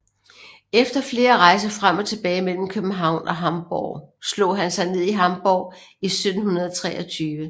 Efter flere rejser frem og tilbage mellem København og Hamborg slog han sig ned i Hamborg i 1723